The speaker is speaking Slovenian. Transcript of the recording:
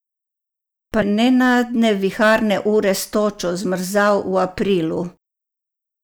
Pa nenadne viharne ure s točo, zmrzal v aprilu?